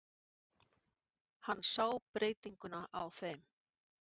Hann sá breytinguna á þeim.